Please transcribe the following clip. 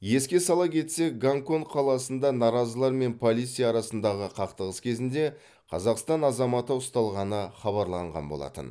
еске сала кетсек гонконг қаласында наразылар мен полиция арасындағы қақтығыс кезінде қазақстан азаматы ұсталғаны хабарланған болатын